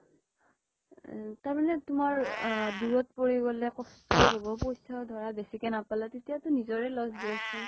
আ তাৰমানে তোমাৰ আ দুৰত পৰি গʼলে কষ্টও হʼব, পইচাও ধৰা বেছিকে নাপালে, তেতিয়াও তো নিজৰে loss দিয়াচোন